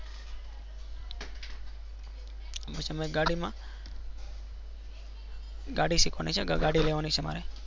અમુક સમય ગાડી મા ગાડી સીખવાની છે. ગડી લેવા ની છે. મારે